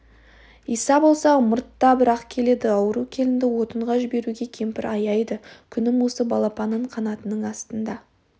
иса болса ымыртта бір-ақ келеді ауру келінді отынға жіберуге кемпір аяйды күнім осы балапанын қанатының астына